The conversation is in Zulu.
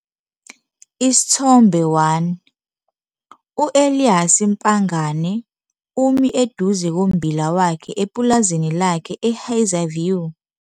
Isithombe 1- U-Elias Pangane umi eduze kombila wakhe epulazini lakhe eHazyview.